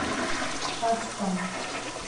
шацком